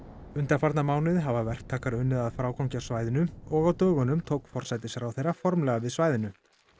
undanfarna mánuði hafa verktakar unnið að frágangi á svæðinu og á dögunum tók forsætisráðherra formlega við svæðinu